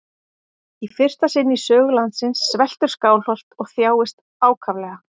Í fyrsta sinn í sögu landsins sveltur Skálholt og þjáist ákaflega.